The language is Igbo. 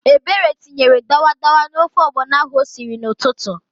Ebere tinyefere dawadawa n'ofe ọgbọnọ ahụ o siri n'ụtụtụ.